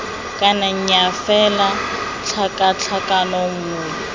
kana nnyaa fela tlhakatlhakano nngwe